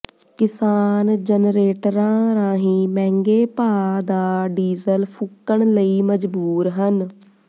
ਕਿਸਾਨ ਜਨਰੇਟਰਾਂ ਰਾਹੀਂ ਮਹਿੰਗੇ ਭਾਅ ਦਾ ਡੀਜ਼ਲ ਫੂਕਣ ਲਈ ਮਜਬੂਰ ਹਨ